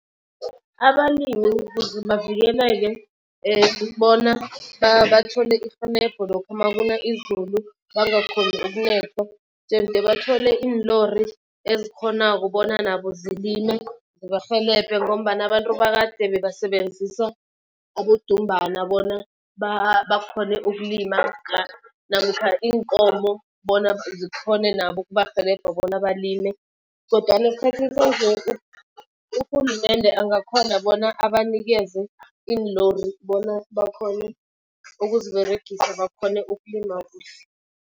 Abalimi ukuze bavikeleke bona bathole irhelebho lokha makuna izulu bangakhoni ukunethwa. Jemde bathole iinlori ezikghonako bona nabo zilime zibarhelebhe ngombana abantu bakade bebasebenzisa abodumbana bona bakghone ukulima namkha iinkomo bona zikhone nabo ukubarhelebha bona balime. Kodwana esikhathini sanje urhulumende angakhona bona abanikeze iinlori bona bakhone ukuziberegisa bakhone ukulima kuhle.